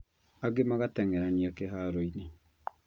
Angĩ magateng'erania kĩharoinĩ